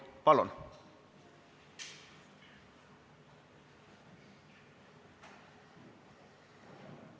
Palun!